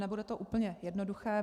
Nebude to úplně jednoduché.